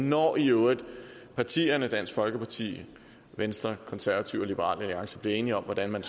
når i øvrigt partierne dansk folkeparti venstre konservative og liberal alliance bliver enige om hvordan man